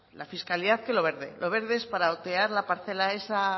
la fiscalidad que lo verde lo verde es para otear la parcela esa